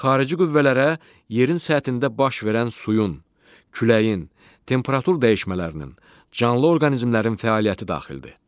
Xarici qüvvələrə yerin səthində baş verən suyun, küləyin, temperatur dəyişmələrinin, canlı orqanizmlərin fəaliyyəti daxildir.